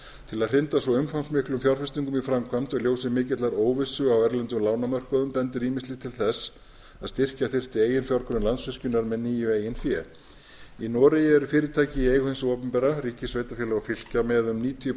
til að hrinda svo umfangsmiklum fjárfestingum í framkvæmd og í ljósi mikillar óvissu á erlendum lánamörkuðum bendir ýmislegt til þess að styrkja þyrfti eiginfjárgrunn landsvirkjunar með nýju eigin fé í noregi eru fyrirtæki í eigu hins opinbera með um níutíu